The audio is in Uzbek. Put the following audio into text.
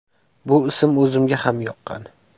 Bu ism o‘zimga ham yoqqan.